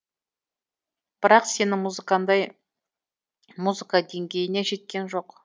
бірақ сенің музыкаңдай музыка деңгейіне жеткен жоқ